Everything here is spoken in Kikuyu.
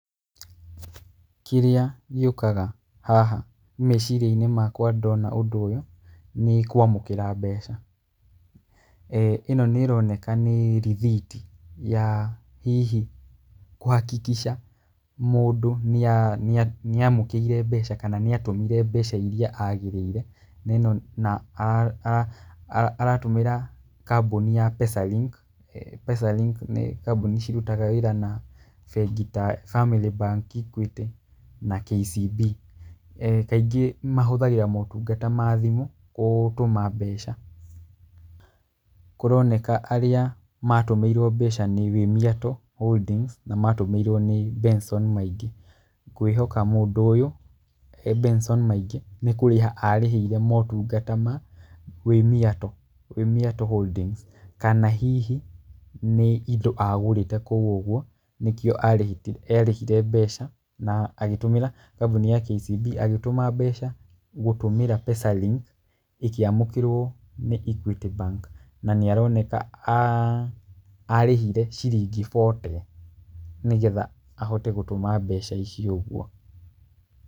Kĩrĩa gĩũkaga haha, meciria-inĩ makwa ndona ũndũ ũyũ nĩ kamũkĩra mbeca. Ĩno nĩĩroneka nĩ rĩthiti ya hihi kũ- hakikisha mũndũ nĩamũkĩire mbeca, kana nĩatũmire mbeca iria agĩrĩire, na ĩno na aratũmĩra kambũni ya Pesalink, Pesalink nĩ kambũni cirutaga wĩra na bengi ta Family Bank, Equity na KCB. Kaingĩ mahũthagĩra motungata ma thimũ kũtũma mbeca. Kũroneka arĩa matũmĩirwo mbeca nĩ Wĩmiato Holdings na matũmĩirwo nĩ Benson Maingĩ. Ngwĩhoka mũndũ ũyũ Benson Maingĩ nĩ kũrĩha arĩhire motungata ma Wĩmiato, Wĩmiato Holdings kana hihi nĩ indo agũrĩte kũu ũguo nĩkĩo arĩhire mbeca na agĩtũmĩra kambũni ya KCB agĩtũma mbeca gũtũmĩra Pesa Link ĩkĩamũkĩrwo nĩ Equity Bank. Na nĩaroneka arĩhire ciringi bote, nĩgetha ahote gũtũma mbeca icio ũguo.